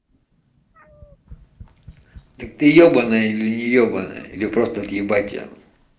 так ты ёобаная или не ёбанная или просто отъебать тебя